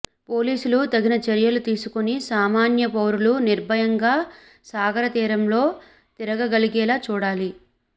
పోలీసులు తగిన చర్యలు తీసుకుని సామాన్య పౌరులు నిర్భయంగా సాగరతీరంలో తిరగగలిగేలా చూడాలి